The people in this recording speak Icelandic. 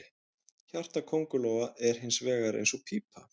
Hjarta köngulóa er hins vegar eins og pípa.